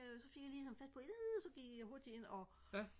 så fik jeg lige sådan fat på ih så gik jeg hurtigt ind og